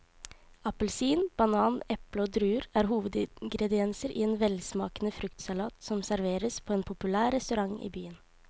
Appelsin, banan, eple og druer er hovedingredienser i en velsmakende fruktsalat som serveres på en populær restaurant i byen.